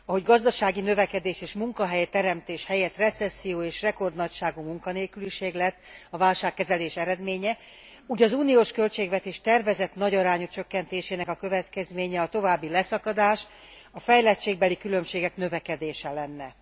Ahogy gazdasági növekedés és munkahelyteremtés helyett recesszió és rekordnagyságú munkanélküliség lett a válságkezelés eredménye, úgy az uniós költségvetés tervezett nagyarányú csökkentésének a következménye a további leszakadás, a fejlettségbeli különbségek növekedése lenne.